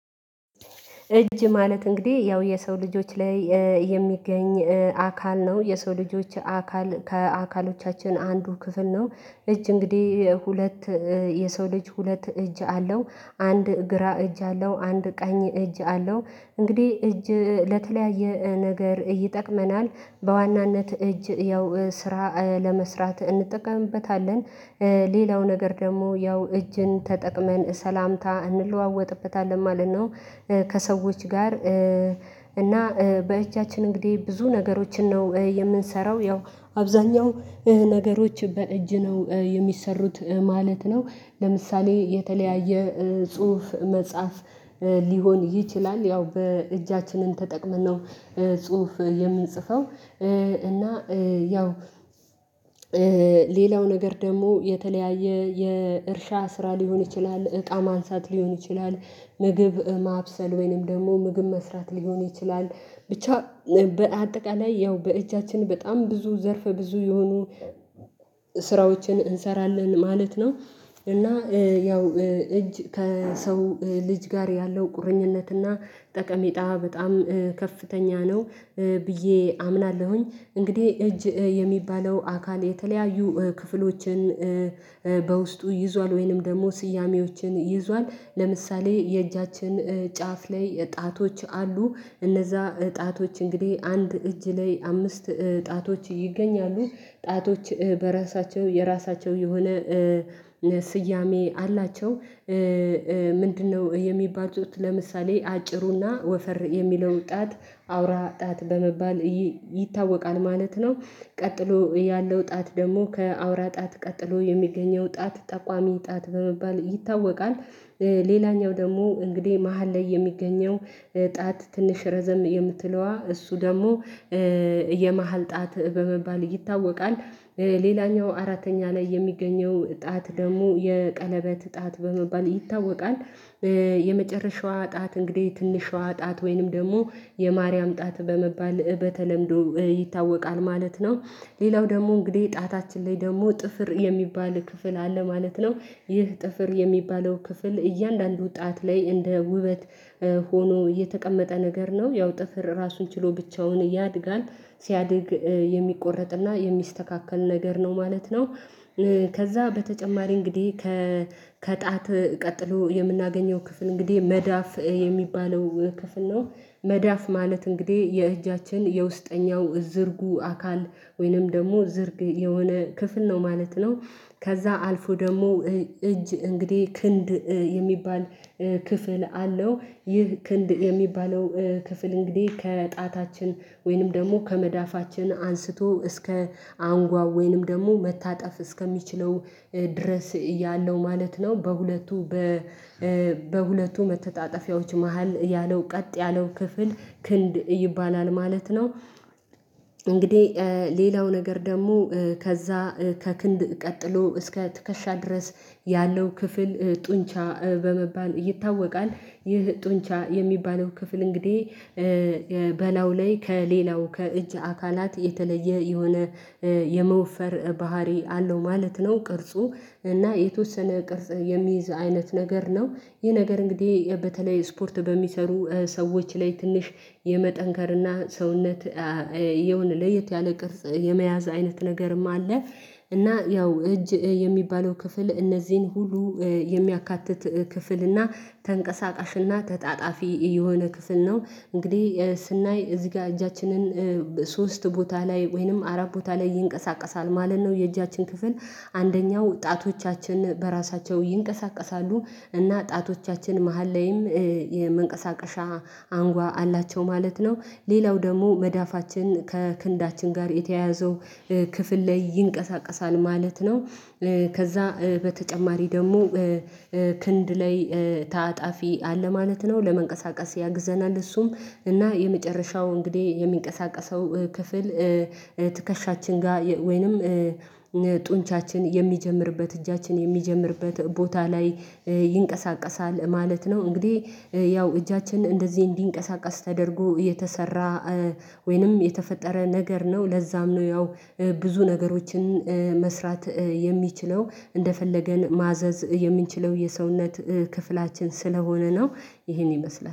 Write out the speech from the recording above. እጅ ማለት እንግዲህ ያው የሰው ልጆች ላይ የሚገኝ አካል ነው የሰው ልጆች አካል ከአካሎቻችን አንዱ ክፍል ነው። እጅ እንግዲህ ሁለት የሰው ልጅ ሁለት እጅ አለው። አንድ ግራ እጅ አለው አንድ ቀኝ እጅ አለው። እንግዲህ እጅ ለተለያየ ነገር ይጠቅመናል በዋናነት እጅ ያው ስራ ለመስራት እንጠቀምበታለን ሌላው ነገር ደግሞ ያው እጅን ተጠቅመን ሰላምታ እንለዋወጥበታለን ማለት ነው። ከሰዎች ጋር እና በእጃችን እንግዲህ ብዙ ነገሮችን ነው የምንሰራው ያው አብዛኛው ነገሮች በእጅ ነው የሚሰሩት ማለት ነው። ለምሳሌ የተለያየ ጽሁፍ መጻፍ ሊሆን ይችላል ያው በእጃችንን ተጠቅመን ነው ጽሁፍ የምንጽፈው። እና ያው ሌላው ነገር ደግሞ የተለያየ የእርሻ ስራ ሊሆን ይችላል እቃ ማንሳት ሊሆን ይችላል። ምግብ ማብሰል ወይንም ደግሞ ምግብ መስራት ሊሆን ይችላል። ብቻ በአጠቃላይ ያው በእጃችን በጣም ብዙ ዘርፍ ብዙ የሆኑ ስራዎችን እንሰራለን ማለት ነው። እና ያው እጅ ከሰው ልጅ ጋር ያለው ቁርኝነትና ጠቀሜታ በጣም ከፍተኛ ነው። ብዬ አምናለሁኝ እንግዲህ እጅ የሚባለው አካል የተለያዩ ክፍሎችን በውስጡ ይዟል ወይንም ደግሞ ስያሜዎችን ይዟል ለምሳሌ የእጃችን ጫፍ ላይ ጣቶች አሉ። እነዛ እጣቶች እንግዲህ አንድ እጅ ላይ አምስት እጣቶች ይገኛሉ እጣቶች በራሳቸው የራሳቸው የሆነ ስያሜ አላቸው። ምንድነው? የሚባሉት ለምሳሌ አጭሩና ወፈር የሚለው ጣት አውራ ጣት በመባል ይታወቃል ማለት ነው። ቀጥሎ ያለው ጣት ደግሞ ከአውራ ጣት ቀጥሎ የሚገኘው ጣት ጠቋሚ ጣት በመባል ይታወቃል። ሌላኛው ደግሞ እንግዲህ መሃል ላይ የሚገኘው ጣት ትንሽ ረዘም የምትለዋ እሱ ደግሞ የመሃል ጣት በመባል ይታወቃል። ሌላኛው አራተኛ ላይ የሚገኘው ጣት ደግሞ የቀለበት ጣት በመባል ይታወቃል። የመጨረሻዋ ጣት እንግዲህ ትንሿ ጣት ወይንም ደግሞ የማርያም ጣት በመባል በተለምዶ ይታወቃል ማለት ነው። ሌላው ደግሞ እንግዲህ ጣታችን ላይ ደግሞ ጥፍር የሚባል ክፍል አለ ማለት ነው። ይህ ጥፍር የሚባለው ክፍል እያንዳንዱ ጣት ላይ እንደ ውበት ሆኖ እየተቀመጠ ነገር ነው ያው ጥፍር ራሱን ችሎ ብቻውን ያድጋል ሲያድግ የሚቆረጥና የሚስተካከል ነገር ነው ማለት ነው። ከዛ በተጨማሪ እንግዲህ ከከጣት ቀጥሎ የምናገኘው ክፍል እንግዲህ መዳፍ የሚባለው ክፍል ነው። መዳፍ ማለት እንግዲህ የእጃችን የውስጠኛው እዝርጉ አካል ወይንም ደግሞ ዝርግ የሆነ ክፍል ነው ማለት ነው። ከዛ አልፎ ደግሞ እጅ እንግዲህ ክንድ የሚባል ክፍል አለው። ይህ ክንድ የሚባለው ክፍል እንግዲህ ከጣታችን ወይንም ደግሞ ከመዳፋችን አንስቶ እስከ አንጓው ወይንም ደግሞ መታጠፍ እስከሚችለው ድረስ እያለው ማለት ነው በሁለቱ በ በሁለቱ መተጣጠፊያዎች መሃል ያለው ቀጥ ያለው ክፍል ክንድ ይባላል ማለት ነው። እንግዲህ ሌላው ነገር ደግሞ ከዛ ከክንድ ቀጥሎ እስከ ትከሻ ድረስ ያለው ክፍል ጡንቻ በመባል ይታወቃል። ይህ ጡንቻ የሚባለው ክፍል እንግዲህ በላው ላይ ከሌላው ከእጅ አካላት የተለየ የሆነ የመወፈር ባህሪ አለው ማለት ነው። ቅርጹ እና የተወሰነ ቅርጽ የሚይዝ አይነት ነገር ነው። ይህ ነገር እንግዲህ በተለይ ስፖርት በሚሰሩ ሰዎች ላይ ትንሽ የመጠንከርና ሰውነት የሆነ ለየት ያለ ቅርጽ የመያዝ አይነት ነገርም አለ። እና ያው እጅ የሚባለው ክፍል እነዚህን ሁሉ የሚያካትት ክፍል እና ተንቀሳቃሽ እና ተጣጣፊ የሆነ ክፍል ነው። እንግዲሀ ስናይ እዚሀ ጋር እጃችንን ሶስት ቦታ ላይ ወይንም አራት ቦታ ላይ ይንቀሳቀሳል ማለት ነው። የእጃችን ክፍል አንደኛው ጣቶቻችን በራሳቸው ይንቀሳቀሳሉ እና ጣቶቻችን መሃል ላይም የመንቀሳቀሻ አንጓ አላቸው ማለት ነው። ሌላው ደግሞ መዳፋችን ከክንዳችን ጋር የተያያዘው ክፍል ላይ ይንቀሳቀሳል ማለት ነው። ከዛ በተጨማሪ ደግሞ ክንድ ላይ ታጣፊ አለ ማለት ነው ለመንቀሳቀስ ያግዘናል እሱም እና የመጨረሻው እንግዲህ የሚንቀሳቀሰው ክፍል ትከሻችን ጋር ወይንም ጡንቻችን የሚጀምርበት እጃችን የሚጀምርበት ቦታ ላይ ይንቀሳቀሳል ማለት ነው። እንግዲህ ያው እጃችን እንደዚህ እንዲንቀሳቀስ ተደርጎ የተሰራ ወይንም የተፈጠረ ነገር ነው ለዛም ነው ያው ብዙ ነገሮችን መስራት የሚችለው እንደፈለገን ማዘዝ የምንችለው የሰውነት ክፍላችን ስለሆነ ነው። ይሄን ይመስላል